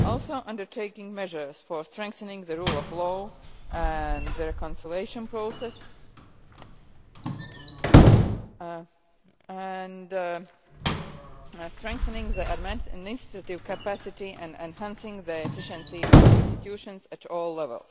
also undertaking measures for strengthening the rule of law and the reconciliation process, and strengthening administrative capacity and enhancing the efficiency of institutions at all levels.